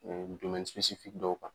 Ɛ domɛnnisipesisi dɔw kan